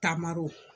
Taamaro